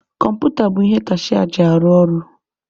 Kọmputa bụ ihe kashịa ji arụ ọrụ.